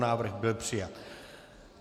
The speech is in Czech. Návrh byl přijat.